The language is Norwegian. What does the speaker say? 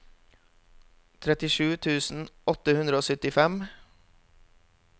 trettisju tusen åtte hundre og syttifem